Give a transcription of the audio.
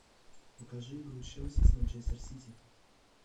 покажи игру челси с манчестер сити